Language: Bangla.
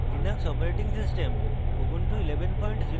linux operating system ubuntu 1104